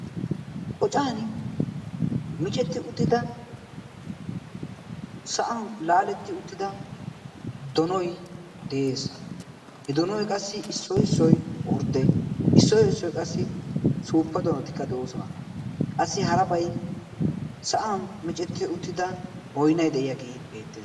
Qoccani micceti uttida sa'an laalettid uttida donoy de'ees. he donoy issoy issoy ordde issoy issoy qassi suuppa donotikka de'oosona qassi harabay sa'an micceti uttida baynnay de'iyaageekka beettees.